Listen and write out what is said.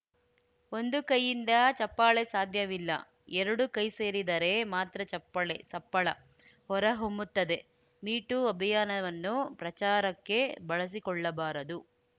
ಒಂದು ಕೈಯಿಂದ ಚಪ್ಪಾಳೆ ಸಾಧ್ಯವಿಲ್ಲ ಎರಡು ಕೈಸೇರಿದರೆ ಮಾತ್ರ ಚಪ್ಪಾಳೆ ಸಪ್ಪಳ ಹೊರಹೊಮ್ಮುತ್ತದೆ ಮೀ ಟೂ ಅಭಿಯಾನವನ್ನು ಪ್ರಚಾರಕ್ಕೆ ಬಳಸಿಕೊಳ್ಳಬಾರದು